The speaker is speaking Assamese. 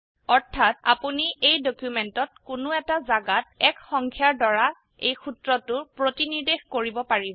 অৰ্থাত আপোনি এই ডকিউমেন্টত কোনো এটা জাগাত ১ সংখ্যাৰ দ্বাৰা এই সূত্ৰটো প্ৰতিনিৰ্দেশ কৰিব পাৰিব